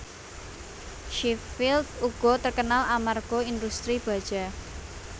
Sheffield uga terkenal amarga industri baja